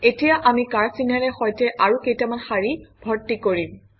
এতিয়া আমি কাঁড়চিনেৰে সৈতে আৰু কেইটামান শাৰী ভৰ্তি কৰিম